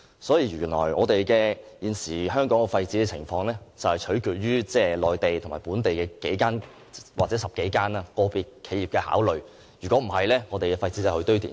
所以，原來現時香港的廢紙回收情況是取決於內地和本地的10多間個別企業的考慮，否則香港的廢紙便運往堆填區。